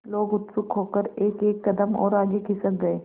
लोग उत्सुक होकर एकएक कदम और आगे खिसक गए